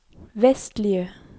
vestlige